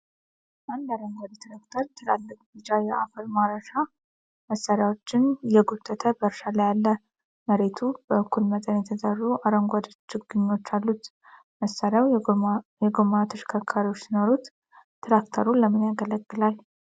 አንድ አረንጓዴ ትራክተር ትላልቅ ቢጫ የአፈር ማረስያ መሳሪያዎችን እየጎተተ በእርሻ ላይ አለ። መሬቱ በእኩል መጠን የተዘሩ አረንጓዴ ችግኞች አሉት። መሳሪያው የጎማ ተሽከርካሪዎች ሲኖሩት፣ ትራክተሩ ለምንያገለግላል?